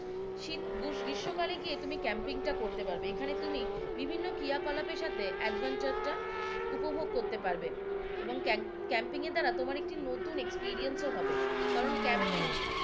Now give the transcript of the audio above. শীত গ্রী~গ্রীস্ম কালে গিয়ে তুমি ক্যাম্পিং টা এখানে করতে পারবে এখানে তুমি বিভিন্ন ক্রিয়া কলাপের সাথে adventure টা উপভোগ করতে পারবে এবং ক্যাম্পিং এর দ্বারা তোমার একটি নতুন experience ও হবে কারণ ক্যাম্পিং